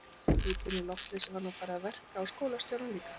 Hitinn og loftleysið var nú farið að verka á skólastjórann líka.